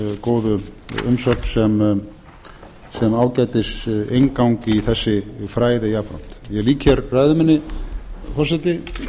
góðu umsögn sem ágætis inngang í þessi fræði jafnframt ég lýk hér ræðu minni forseti